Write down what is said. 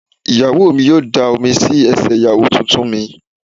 Ìyá mi yóò da omi sí ẹsẹ̀ Ìyàwó tuntun mi.